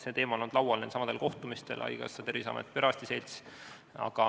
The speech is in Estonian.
See teema on olnud laual nendelsamadel kohtumistel, kus on osalenud haigekassa, Terviseamet, perearstide selts jne.